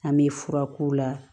An bɛ fura k'u la